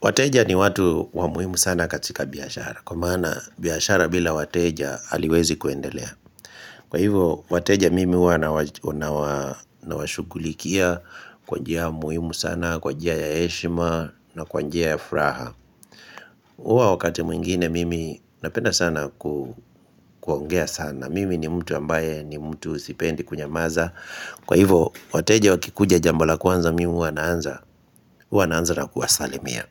Wateja ni watu wa muhimu sana katika biyashara. Kwa maana biyashara bila wateja aliwezi kuendelea. Kwa hivyo, wateja mimi uwa na washugulikia kwa njia muhimu sana, kwa njia ya eshma na kwa njia ya fraha. Uwa wakati mwingine mimi napenda sana kuongea sana. Mimi ni mtu ambaye ni mtu sipendi kunyamaza. Kwa hivyo, wateja wakikuja jambo la kwanza mimi uwa naanza na kuwasalimia.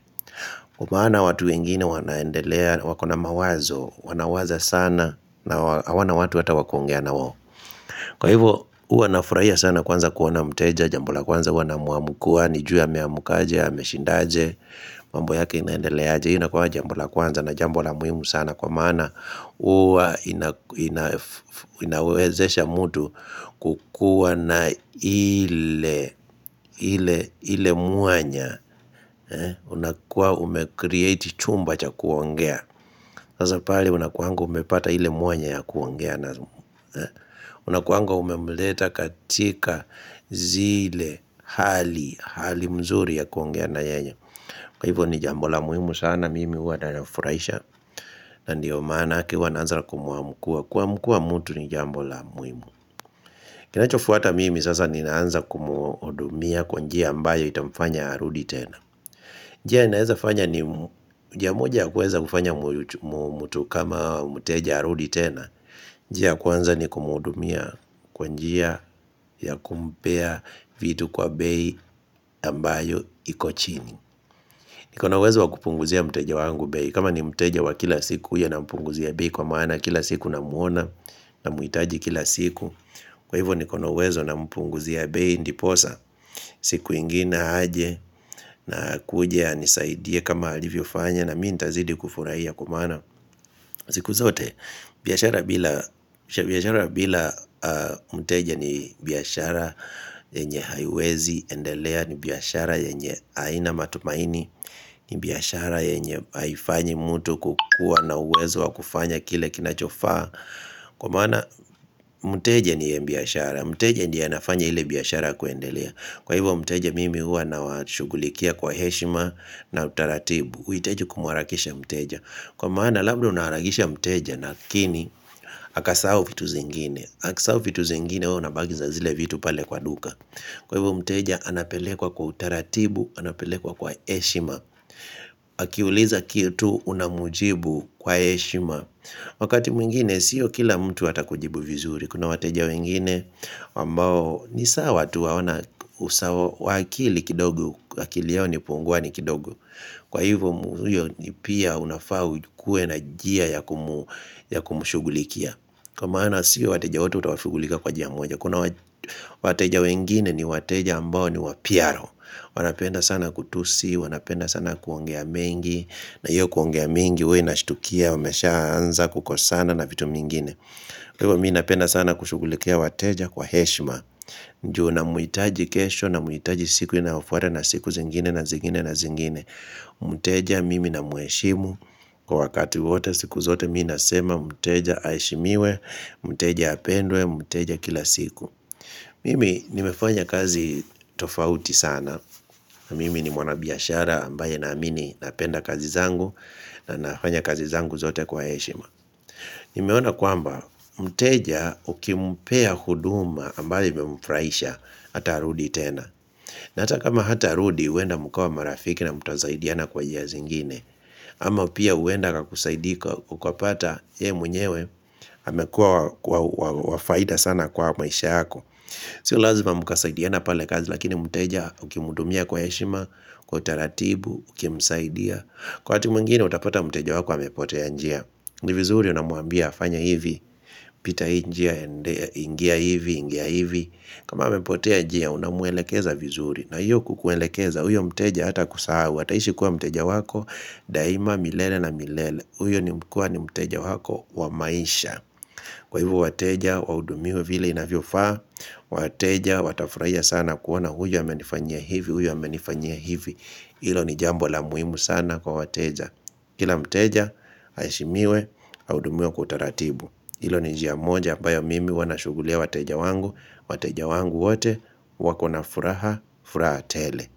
Kwa maana watu wengine wanaendelea, wakona mawazo, wanawaza sana na hawana watu wata wakuongea na wawo Kwa hivyo uwa nafuraia sana kwanza kuwona mteja, jambo la kwanza uwa namuamukua, nijue ameamukaja, ya meshindaje mambo yake inaendelea aje, ina kwa jambo la kwanza na jambula muhimu sana na kwa maana uwa inawezesha mtu kukua na ile muanya. Unakuwa umekreate chumba cha kuongea. Nazapale unakuangu umepata ile muanya ya kuongea. Unakuangu umemleta katika zile hali mzuri ya kuongea na yeye. Kwa hivyo ni jambo la muhimu sana mimi uwa na nafuraisha. Na ndiyo manake huwa naanza kumuamukua Kuamukua mtu ni jambo la muimu Kinachofuata mimi sasa ninaanza kumuodumia kwa njia ambayo itamfanya arudi tena njia inaweza fanya ni njia moja kuweza kufanya mtu kama muteja arudi tena njia ya kwanza ni kumuodumia kwanjia ya kumpea vitu kwa bei ambayo iko chini niko nauwezo wa kupunguzia muteja wangu bei kama ni mteja wa kila siku ya na mpunguzi ya bei kwa maana Kila siku namuona namuitaji kila siku Kwa hivyo nikono uwezo nampunguzi bei ndiposa siku ingine haje na kuja nisaidie kama alivi ufanya na mii ntazidi kufurahia kwa maana siku zote biyashara bila mteja ni biyashara enye haywezi endelea ni biyashara enye haina matumaini ni biyashara yenye haifanyi mtu kukua na uwezo wa kufanya kile kinachofa Kwa mana mteja ni ya mbiyashara Mteja ndiye nafanya hile biyashara kuendelea Kwa hivyo mteja mimi hua na washugulikia kwa heshima na utaratibu huitaji kumwarakisha mteja Kwa mana labda unaharagisha mteja nakini Haka sawo fitu zingine Haka sawo fitu zingine huo na bagi za zile vitu pale kwa duka Kwa hivyo mteja anapelekwa kwa utaratibu, anapelekwa kwa heshima Akiuliza kitu unamujibu kwa eshima Wakati mwingine siyo kila mtu atakujibu vizuri Kuna wateja wengine wambao Nisawa tu waona usawa wakili kidogo wakili yao ni pungwani kidogo Kwa hivyo mtuyo ni pia unafau kue na jia ya kumushugulikia Kwa maana siyo wateja wote utawashugulika kwa jia moja Kuna wateja wengine ni wateja ambao ni wapiaro wanapenda sana kutusi, wanapenda sana kuongea mengi na hiyo kuongea mengi, wei nashitukia, wameshaanza kukosana na vitu mingine Kwa hiyo, mii napenda sana kushugulikea wateja kwa heshima Njuu namuitaji kesho na muitaji siku inafuata na siku zingine na zingine na zingine Muteja, mimi na mueshimu Kwa wakati wote siku zote mii nasema, muteja aishimiwe, muteja apendwe, muteja kila siku Mimi, nimefanya kazi tofauti sana na mimi ni mwana biyashara ambaye na amini na penda kazi zangu na nafanya kazi zangu zote kwa eshima Nimeona kwamba, mteja ukimpea huduma ambaye memfraisha hata arudi tena na hata kama hata arudi uenda mkawa marafiki na mutazaidiana kwa njia zingine ama pia uenda kakusaidika ukwapata ye mwenyewe amekua wa faida sana kwa maisha hako Sio lazima mukasaidiana pale kazi lakini mteja ukimudumia kwa yeshima, kwa taratibu, ukimsaidia Kwa hati muingine utapata mteja wako amepotea njia ni vizuri unamuambia afanye hivi, pita injia, ingia hivi, ingia hivi kama amepotea njia unamuelekeza vizuri na hiyo kukuelekeza uyo mteja hatakusau Wataishi kuwa mteja wako daima milele na milele Uyo ni mkua ni mteja wako wamaisha Kwa hivo wateja, waudumiwe vile inavyo faa wateja, watafurahia sana kuona huyo yamenifanyia hivi, huyo yamenifanyia hivi Ilo ni jambo la muhimu sana kwa wateja Kila mteja, haishimiwe, audumiwe kutaratibu Ilo ni jia moja, ambayo mimi wanashugulia wateja wangu wateja wangu wote, wakona furaha, furaha tele.